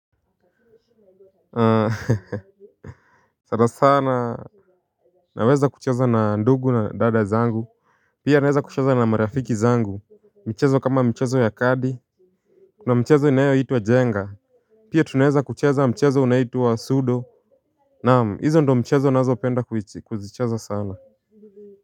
Sana sana naweza kucheza na ndugu na dada zangu pia naweza kucheza na marafiki zangu michezo kama mchezo ya kadi kuna mchezo inayoitwa jenga pia tunaweza kucheza mchezo unaitwa sudo naam hizo ndiyo mchezo ninazopenda kuzicheza sana.